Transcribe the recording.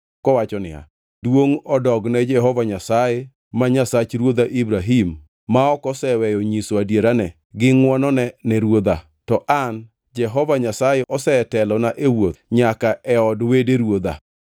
kowacho niya, “Duongʼ odogne Jehova Nyasaye, ma Nyasach ruodha Ibrahim, ma ok oseweyo nyiso adierane gi ngʼwonone ne ruodha. To an, Jehova Nyasaye osetelona e wuoth nyaka e od wede ruodha.”